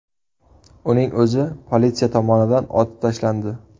Uning o‘zi politsiya tomonidan otib tashlandi.